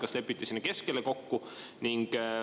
Kas lepiti sinna keskele kokku?